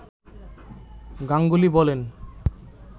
গাঙ্গুলি বলেন